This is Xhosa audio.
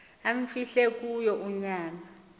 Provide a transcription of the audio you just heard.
amfihle kuyo unyana